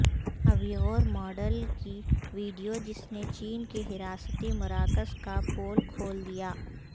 Uyghur model کی video جس نے چین کے حراستی مراکز کا پول کھول دیا